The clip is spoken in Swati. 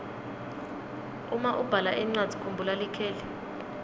uma ubhala incwadzi kumbhula likheli